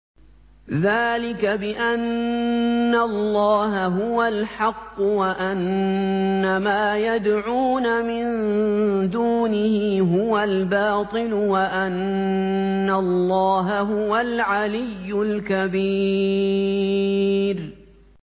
ذَٰلِكَ بِأَنَّ اللَّهَ هُوَ الْحَقُّ وَأَنَّ مَا يَدْعُونَ مِن دُونِهِ هُوَ الْبَاطِلُ وَأَنَّ اللَّهَ هُوَ الْعَلِيُّ الْكَبِيرُ